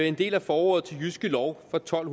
en del af forordet til jyske lov fra tolv